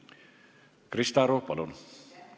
Krista Aru, palun!